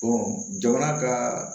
jamana ka